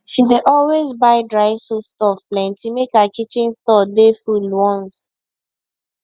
she dey always buy dry foodstuff plenty make her kitchen store dey full once